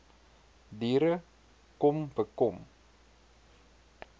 diere kom bekom